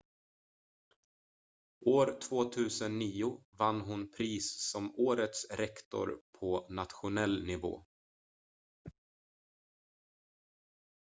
år 2009 vann hon pris som årets rektor på nationell nivå